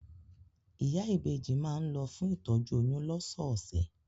Ìyá ìbejì má ń lọ fún ìtọ́jú oyún lọ́sọ̀ọ̀sẹ̀